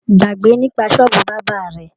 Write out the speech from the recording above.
Gbágbe nípa sọ́ọ̀bù bábà rẹ!